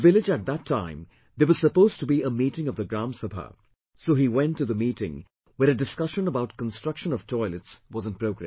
In the village at that time there was supposed to be a meeting of the Gram Sabha, so he went to the meeting where a discussion about construction of toilets was in progress